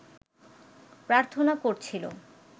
প্রার্থনা করছিল